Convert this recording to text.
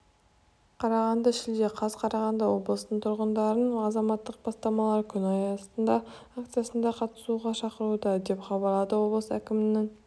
қарағанды шілде қаз қарағанды облысының тұрғындарын азаматтық бастамалар күні акциясына қатысуға шақыруда деп хабарлады облыс әкімінің